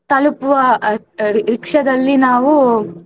ತಲುಪುವ ಆ rickshaw ದಲ್ಲಿ ನಾವು.